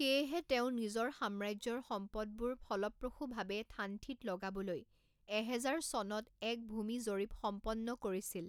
সেয়েহে তেওঁ নিজৰ সাম্ৰাজ্যৰ সম্পদবোৰ ফলপ্ৰসূভাৱে থানথিত লগাবলৈ এহেজাৰ চনত এক ভূমি জৰীপ সম্পন্ন কৰিছিল।